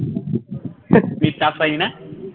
পাইনি না